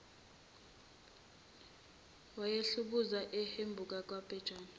wayehubhuza uhubhu kabhejane